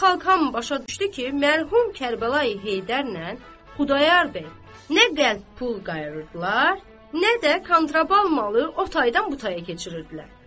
Xalq hamı başa düşdü ki, mərhum Kərbəlayi Heydərlə Xudayar bəy nə qəlp pul qayırırdılar, nə də kontraband malı o taydan bu taya keçirirdilər.